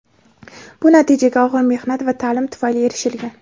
Bu natijaga og‘ir mehnat va ta’lim tufayli erishilgan.